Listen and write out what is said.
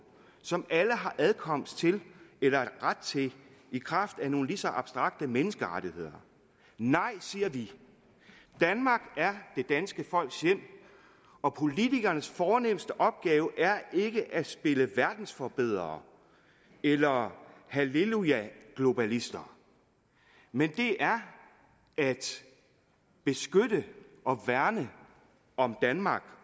som alle har adkomst til eller ret til i kraft af nogle lige så abstrakte menneskerettigheder nej siger vi danmark er det danske folks hjem og politikernes fornemste opgave er ikke at spille verdensforbedrere eller hallelujaglobalister men det er at beskytte og værne om danmark